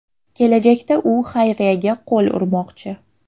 Kelajakda u xayriyaga qo‘l urmoqchi.